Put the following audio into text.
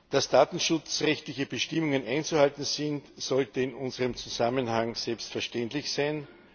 Dass datenschutzrechtliche Bestimmungen einzuhalten sind, sollte in unserem Zusammenhang selbstverständlich sein.